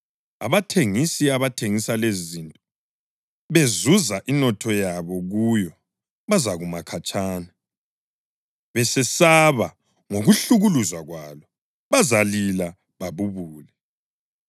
Abathengisi ababethengisa lezizinto bezuza inotho yabo kuyo bazakuma khatshana, besesaba ngokuhlukuluzwa kwalo. Bazalila babubule